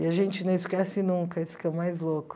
E a gente não esquece nunca, isso que é o mais louco.